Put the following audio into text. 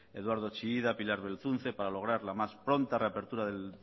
eduardo chillida pilar belzunce para lograr la más pronta reapertura del